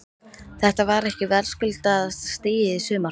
Þetta var ekki verðskuldaðasta stigið í sumar?